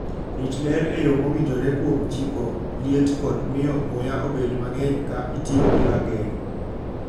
Rit ler e yo mowinjore kuom chiko liet kod miyo muya obed mang'eny ka itiyo gi rageng '.